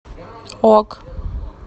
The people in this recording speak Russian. ок